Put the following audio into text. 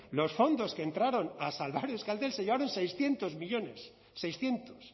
los fondos que entraron a salvar euskaltel sellaron seiscientos millónes seiscientos